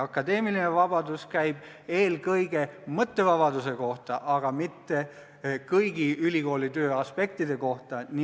Akadeemiline vabadus käib eelkõige mõttevabaduse kohta, mitte kõigi ülikooli töö aspektide kohta.